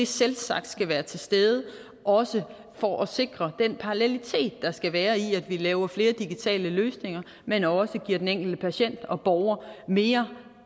selvsagt skal være til stede også for at sikre den parallelitet der skal være i at vi laver flere digitale løsninger men også giver den enkelte patient og borger mere